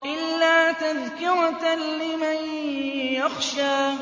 إِلَّا تَذْكِرَةً لِّمَن يَخْشَىٰ